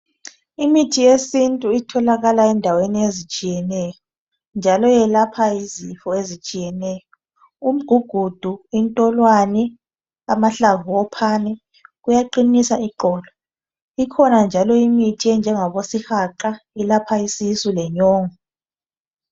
Imithi yesintu itholakala endaweni ezitshiyeneyo njalo iyelapha izifo ezitshiyeneyo. Umgugudo, intolwane, amahlamvu ophane kuyaqinisa iqolo. Ikhona njalo imithi enjengabo sihaqa eyelapha isisu lenyongo.